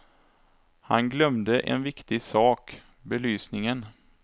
Han glömde en viktig sak, belysningen.